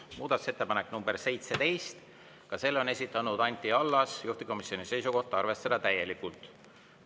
Muudatusettepanek nr 17, ka selle on esitanud Anti Allas, juhtivkomisjoni seisukoht: arvestada täielikult.